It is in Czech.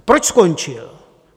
A proč skončil?